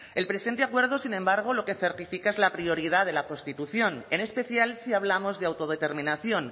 el presente acuerdo sin embargo lo que certifica es la prioridad de la constitución en especial si hablamos de autodeterminación